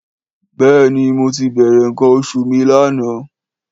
Béèni mo tí bèrè nkan oṣù mí l'ana